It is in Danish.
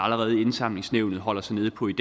allerede i indsamlingsnævnet holder sig nede på i